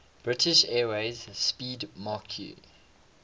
british airways 'speedmarque